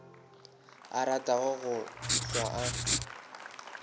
a ratago go hlwa a